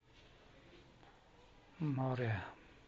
море